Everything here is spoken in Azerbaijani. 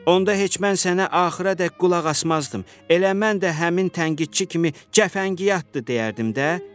Onda heç mən sənə axıradək qulaq asmazdım, elə mən də həmin tənqidçi kimi cəfəngiyatdır deyərdim də.